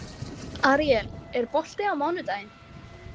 Aríel, er bolti á mánudaginn?